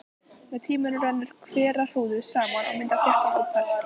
Með tímanum rennur hverahrúðrið saman og myndar þéttan ópal.